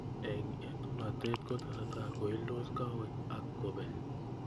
Eng etunatet kotesetai koildos kawek ak kobek.